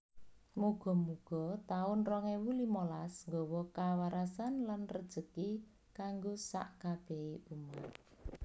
Mugo mugo taun rong ewu limolas nggowo kawarasan lan rejeki kanggo sak kabehe umat